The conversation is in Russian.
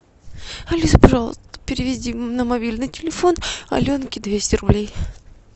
алиса пожалуйста переведи на мобильный телефон аленке двести рублей